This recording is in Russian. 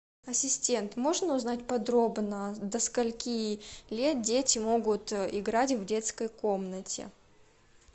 ассистент можно узнать подробно до скольки лет дети могут играть в детской комнате